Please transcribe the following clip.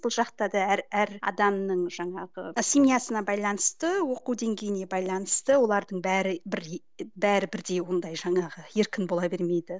бұл жақта да әр әр адамның жаңағы семьясына байланысты оқу деңгейіне байланысты олардың бәрі бәрі бірдей ондай жаңағы еркін бола бермейді